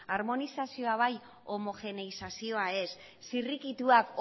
armonizazioa bai homogeneizazioa ez zirrikituak